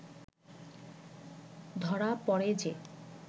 ধরা পড়ে যে